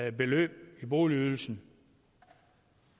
et beløb i boligydelsen